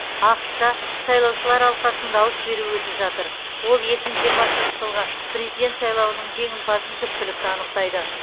ақш та сайлаушылар алқасының дауыс беруі өтіп жатыр ол екі мың жиырмасыншы жылғы президент сайлауының жеңімпазын түпкілікті анықтайды